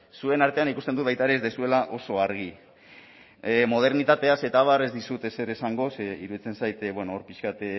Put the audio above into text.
zuen artean ikusten dut baita ere ez duzuela oso argi modernitateaz eta abar ez dizut ezer esango ze iruditzen zait bueno pixka bat